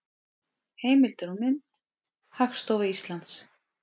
Heimildir og mynd: Hagstofa Íslands.